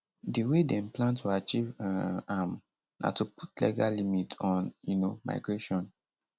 di way dem plan to achieve um am na to put legal limit on um migration